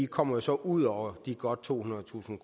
kommer så ud over de godt tohundredetusind